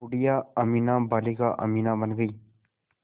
बूढ़िया अमीना बालिका अमीना बन गईं